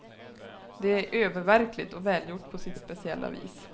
Det är öververkligt och välgjort på sitt speciella vis.